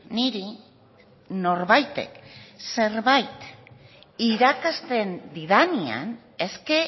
niri norbaitek zerbait irakasten didanean eske